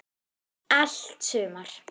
Allt sumar